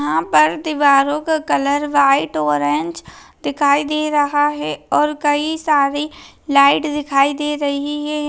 यहाँ पर दीवारों का कलर व्हाईट ऑरेंज दिखाई दे रहा है और कई सारे लाइट दिखाई दे रही है।